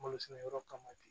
Malo sɛnɛ yɔrɔ kama de